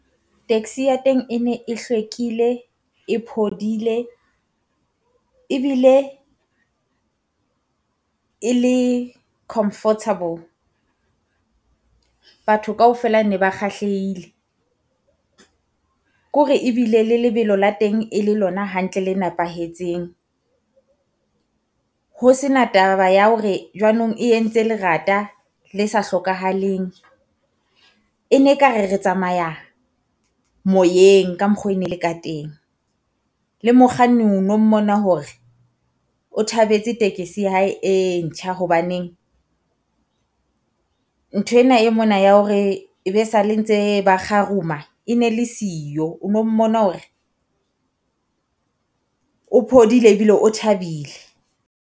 Taxi ya teng e ne e hlwekile e phodile ebile e le comfortable. Batho kaofela ne ba kgahlehile, ke hore ebile le lebelo la tengne le lona hantle le nepahetseng. Ho sena taba ya hore jwanong e entse lerata le sa hlokahaleng. E ne e ka re re tsamaya moyeng ka mokgo e ne le ka teng, le mokganni o no mmona hore o thabetse ya hae e ntjha hobaneng. Ntho ena e mona ya hore e be sale ntse ba kgaruma e ne le siyo, o no mmona hore o phodile ebile o thabile.